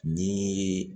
Ni